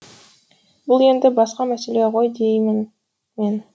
бұл енді басқа мәселе ғой деймін мен